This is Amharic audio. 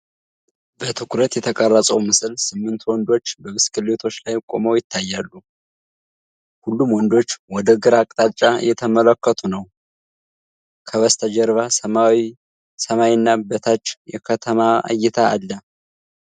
በትኩረት የተቀረጸው ምስል ስምንት ወንዶች በብስክሌቶች ላይ ቆመው ይታያሉ። ሁሉም ወንዶች ወደ ግራ አቅጣጫ እየተመለከቱ ነው፤ ከበስተጀርባ ሰማያዊ ሰማይና በታች የከተማ እይታ አለ።